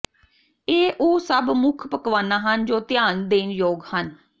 ਇਹ ਉਹ ਸਭ ਮੁੱਖ ਪਕਵਾਨਾ ਹਨ ਜੋ ਧਿਆਨ ਦੇਣ ਯੋਗ ਹਨ